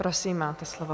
Prosím, máte slovo.